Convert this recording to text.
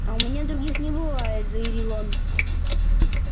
а у меня других не бывает заявил он